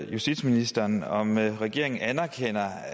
justitsministeren om regeringen anerkender